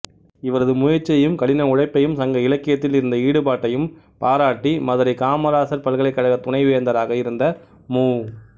இவரது முயற்சியையும் கடின உழைப்பையும் சங்க இலக்கியத்தில் இருந்த ஈடுபாட்டையும் பாராட்டி மதுரை காமராசர் பல்கலைக்கழகத் துணைவேந்தராக இருந்த மு